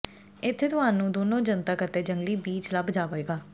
ਇੱਥੇ ਤੁਹਾਨੂੰ ਦੋਨੋ ਜਨਤਕ ਅਤੇ ਜੰਗਲੀ ਬੀਚ ਲੱਭ ਜਾਵੇਗਾ